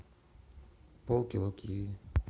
полкило киви